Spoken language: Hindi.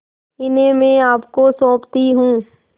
इन्हें मैं आपको सौंपती हूँ